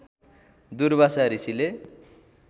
दुर्वासा ऋषिले